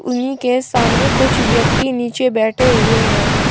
उन्हीं के सामने कुछ व्यक्ति नीचे बैठे हुए हैं।